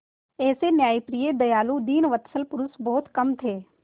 ऐसे न्यायप्रिय दयालु दीनवत्सल पुरुष बहुत कम थे